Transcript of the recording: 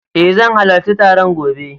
Eh zan halarci taron gobe.